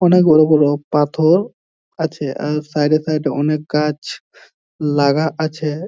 অনেক বড় বড় পাথর আছে আর সাইড সাইড অনেক গাছ লাগা আছে ।